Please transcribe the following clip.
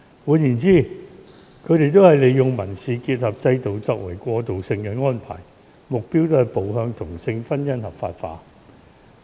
換言之，這些國家或地方都是利用民事結合制度作為過渡性安排，目標是步向同性婚姻合法化。